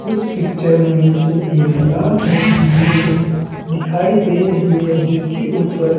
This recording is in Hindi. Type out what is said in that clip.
इस पिक्चर में मुझे एक लाल रंग की बिल्डिंग दिखाई दे रही है जिस के ऊपर--